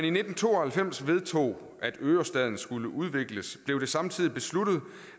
i nitten to og halvfems vedtog at ørestaden skulle udvikles samtidig besluttet